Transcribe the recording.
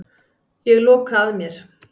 Ég loka að mér.